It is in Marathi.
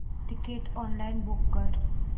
तिकीट ऑनलाइन बुक कर